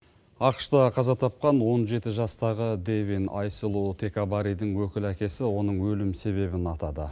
ақш та қаза тапқан он жеті жастағы дэвин айсулу текабаридің өкілі әкесі оның өлім себебін атады